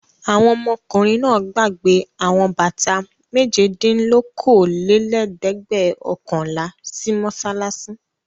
Àwọn ọmọkùnrin náà gbàgbé àwọn bàtà méjedínlókóólélẹ́ẹ̀dẹ́gbẹ̀ọ̀kànlá sí mọ́ṣáláṣí.